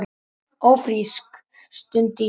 Ófrísk? stundi ég.